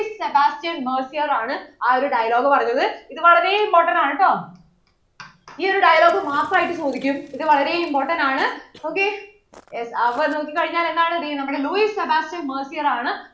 Louissebastienmercier ആണ് ആ ഒരു dialogue പറഞ്ഞത് ഇത് വളരെ important അണുട്ടോ ഈ ഒരു dialogue മാത്രം ആയിട്ട് ചോദിക്കും ഇത് വളരെ important ആണ് ok അപ്പോൾ നോക്കിക്കഴിഞ്ഞാൽ എന്താണ് ദേ നമ്മുടെ Louissebastienmercier ആണ്